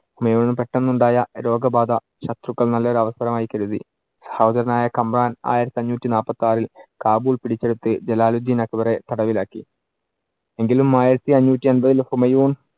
ഹുമയൂണിന് പെട്ടെന്നുണ്ടായ രോഗബാധ ശത്രുക്കൾ നല്ലൊരു അവസരമായി കരുതി. സഹോദരനായ കമ്രാൻ ആയിരത്തി അഞ്ഞൂറ്റി നാല്പത്തി ആറിൽ കാബൂൾ പിടിച്ചെടുത്ത് ജലാലുദ്ധീൻ അക്ബറെ തടവിലാക്കി. എങ്കിലും ആയിരത്തിയഞ്ഞൂറ്റി എൺപത്തിൽ ഹുമയൂൺ